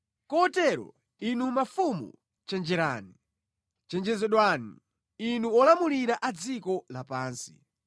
Kotero, inu mafumu, chenjerani; chenjezedwani, inu olamulira a dziko lapansi.